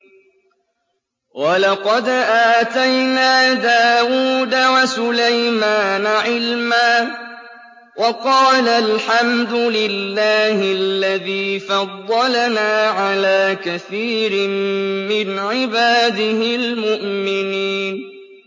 وَلَقَدْ آتَيْنَا دَاوُودَ وَسُلَيْمَانَ عِلْمًا ۖ وَقَالَا الْحَمْدُ لِلَّهِ الَّذِي فَضَّلَنَا عَلَىٰ كَثِيرٍ مِّنْ عِبَادِهِ الْمُؤْمِنِينَ